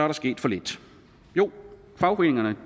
der sket for lidt jo fagforeningerne